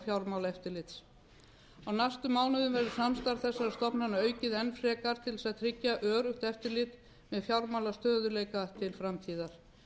fjármálaeftirlits á næstu árum verður samstarf þessara stofnana aukið enn frekar til að tryggja öruggt eftirlit með fjármálastöðugleika til framtíðar